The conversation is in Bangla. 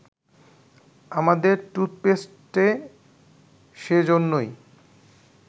আমাদের টুথপেস্টে সে জন্যই